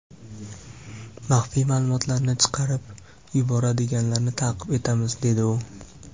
Maxfiy ma’lumotlarni chiqarib yuboradiganlarni ta’qib etamiz”, dedi u.